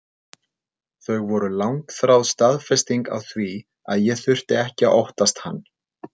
Þau voru langþráð staðfesting á því að ég þurfti ekki að óttast hann.